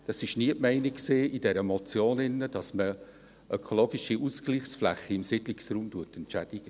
Es war nie die Meinung in dieser Motion, dass man ökologische Ausgleichsflächen im Siedlungsraum entschädigt.